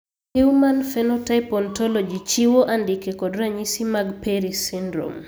Human Phenotype Ontology chiwo andike kod ranyisi mag Perry syndrome.